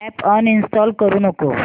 app uninstall करू नको